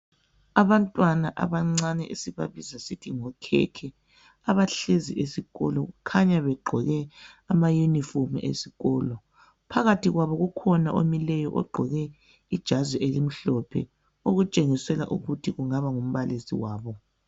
Abantwana abancane esibabiza sithi ngokhekhe abahlezi esikolo, kukhanya beqgoke amayunifomu esikolo. Phakathi kwabo kukhona omileyo oqgoke ijazi elimhlophe okutshengisela ukuthi kungaba ngumbalisi wabo.